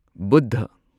Buddha